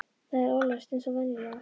Það var ólæst eins og venjulega.